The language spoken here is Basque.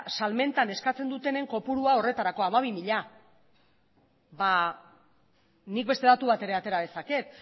salmentan eskatzen dutenen kopurua horretarako hamabi mila ba nik beste datu bat ere atera dezaket